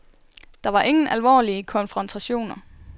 Der var ingen alvorlige konfrontationer.